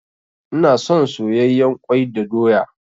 Ina son soyayyen kwai da doya.